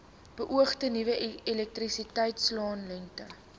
beoogde nuwe elektrisiteitsaanlegte